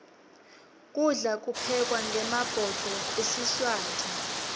kudla kuphekwa ngemabhudo esiswati